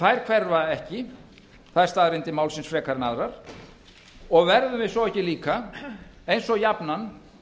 þær hverfa ekki þær staðreyndir málsins frekar en aðrar og verðum við svo ekki líka eins og jafnan